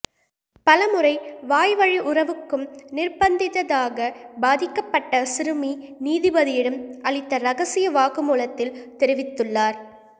பலமுறை வாய்வழி உறவுக்கும் நிர்பந்தித்ததாக பாதிக்கப்பட்ட சிறுமி நீதிபதியிடம் அளித்த ரகசிய வாக்குமூலத்தில் தெரிவித்துள்ளார்